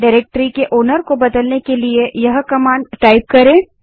directory के मालिकओनर को बदलने के लिए इस कमांड को टाइप करें